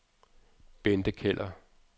Bente Keller